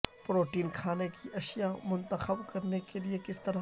protein کھانے کی اشیاء منتخب کرنے کے لئے کس طرح